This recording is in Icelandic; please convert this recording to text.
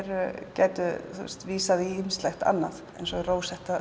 gætu vísað í ýmislegt annað eins og